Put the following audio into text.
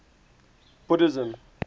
buddhism